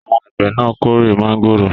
Àwọn àgbẹ̀ náà kórè mángòrò?